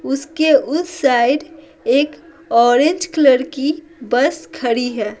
उसके उस साइड एक ऑरेंज कलर की बस खड़ी है।